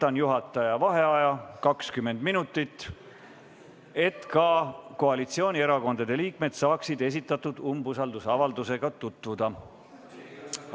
Võtan juhataja vaheaja 20 minutit, et ka koalitsioonierakondade liikmed saaksid esitatud umbusaldusavaldusega tutvuda.